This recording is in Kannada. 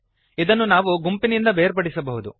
ಇದನ್ನು ನಾವು ಗುಂಪಿನಿಂದ ಬೇರ್ಪಡಿಸಬಹುದು